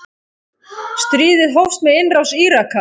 Stríðið hófst með innrás Íraka.